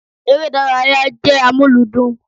Ère ìdárayá jẹ́ amuludun